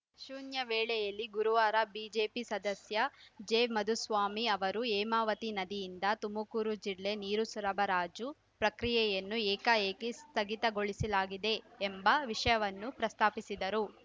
ಶೂನ್ಯ ವೇಳೆಯಲ್ಲಿ ಗುರುವಾರ ಬಿಜೆಪಿ ಸದಸ್ಯ ಜೆಮಾಧುಸ್ವಾಮಿ ಅವರು ಹೇಮಾವತಿ ನದಿಯಿಂದ ತುಮಕೂರು ಜಿಲ್ಲೆ ನೀರು ಸರಬರಾಜು ಪ್ರಕ್ರಿಯೆಯನ್ನು ಏಕಾಏಕಿ ಸ್ಥಗಿತಗೊಳಿಸಲಾಗಿದೆ ಎಂಬ ವಿಷಯವನ್ನು ಪ್ರಸ್ತಾಪಿಸಿದರು